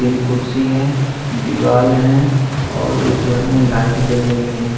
तीन कुर्सी है दिवार है और उस घर में लाइट जल रही है।